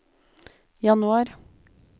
januar